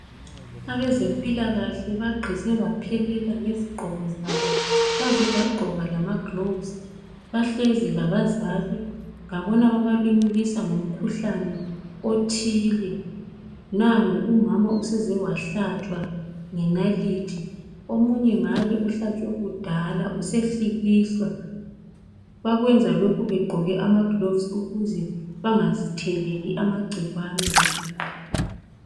Abezempilakahle bagqize baphelela ngezigqoko zabo baze bagqoka lamagilovisi bahlezi labalazi labonalabo abalimukisa ngomkhuhlane othile nangu umama useze wahlatshwa ngenalithi omunye ngale uhlatshwe kudala usehlikihlwa bakwenza lokhu begqoke amagilovisi ukuze bengazitheleli amagcikwane labo